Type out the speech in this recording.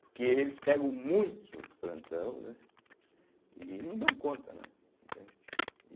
Porque eles pegam muitos plantão, né, e não dão conta, né? entende e